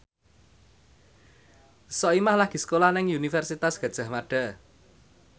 Soimah lagi sekolah nang Universitas Gadjah Mada